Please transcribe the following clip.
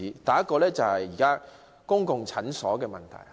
第一個例子有關公共診所。